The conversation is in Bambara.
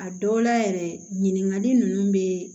A dɔw la yɛrɛ ɲiningali ninnu bɛ